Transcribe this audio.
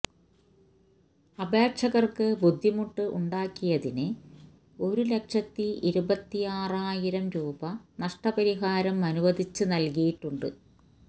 അപേക്ഷകര്ക്ക് ബുദ്ധിമുട്ട് ഉണ്ടാക്കിയതിന് ഒരു ലക്ഷത്തി ഇരുപത്തിയാറായിരം രൂപ നഷ്ടപരിഹാരം അനുവദിച്ച് നല്കിയിട്ടുണ്ട്